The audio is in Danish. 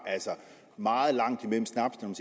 meget langt mellem snapsene